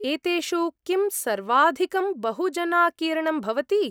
एतेषु किं सर्वाधिकं बहुजनाकीर्णं भवति?